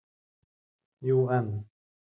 Jú, en.